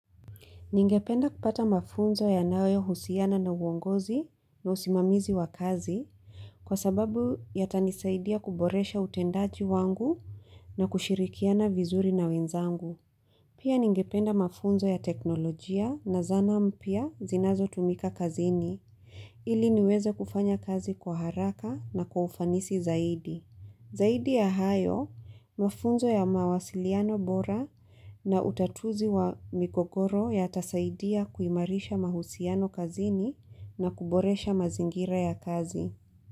Ningependa kupata mafunzo yanayo husiana na uongozi na usimamizi wa kazi kwa sababu yata nisaidia kuboresha utendaji wangu na kushirikiana vizuri na wenzangu. Pia ningependa mafunzo ya teknolojia na zana mpya zinazo tumika kazini ili niweze kufanya kazi kwa haraka na kwa ufanisi zaidi. Zaidi ya hayo, mafunzo ya mawasiliano bora na utatuzi wa mikokoro ya tasaidia kuimarisha mahusiano kazini na kuboresha mazingira ya kazi.